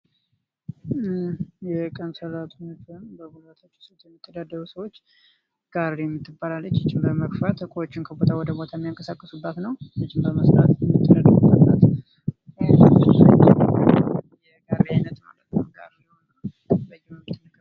የቀን ሰራተኞች ወይም በጉልበታቸው ሰርተው የሚተዳደሩ ሰዎች የሚገፏት ጋሬ ናት።